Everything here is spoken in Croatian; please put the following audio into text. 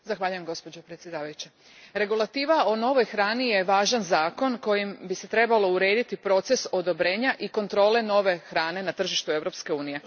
Gospođo predsjedavajuća, regulativa o novoj hrani je važan zakon kojim bi se trebalo urediti proces odobrenja i kontrole nove hrane na tržištu Europske unije.